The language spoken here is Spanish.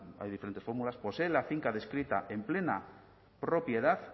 hay diferentes fórmulas poseen la finca descrita en plena propiedad